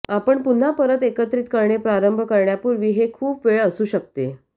आपण पुन्हा परत एकत्रित करणे प्रारंभ करण्यापूर्वी हे खूप वेळ असू शकते